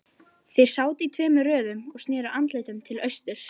Þeir sátu í tveimur röðum og sneru andlitum til austurs.